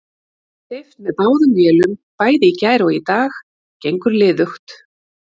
Steypt með báðum vélum bæði í gær og í dag, gengur liðugt.